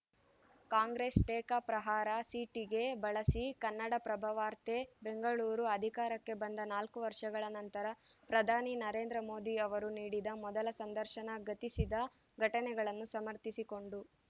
ಕಾಂಗ್ರೆಸ್‌ ಟೀಕಾಪ್ರಹಾರ ಸಿಟಿಗೆ ಬಳಸಿ ಕನ್ನಡಪ್ರಭ ವಾರ್ತೆ ಬೆಂಗಳೂರು ಅಧಿಕಾರಕ್ಕೆ ಬಂದ ನಾಲ್ಕು ವರ್ಷಗಳ ನಂತರ ಪ್ರಧಾನಿ ನರೇಂದ್ರ ಮೋದಿ ಅವರು ನೀಡಿದ ಮೊದಲ ಸಂದರ್ಶನ ಗತಿಸಿದ ಘಟನೆಗಳನ್ನು ಸಮರ್ಥಿಸಿಕೊಂಡು